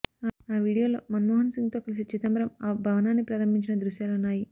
ఆ వీడియోలో మన్మోహన్ సింగ్తో కలిసి చిదంబరం ఆ భవనాన్ని ప్రారంభించిన దృశ్యాలున్నాయి